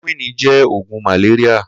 Klórókwìní jẹ̀ ógùn màlériá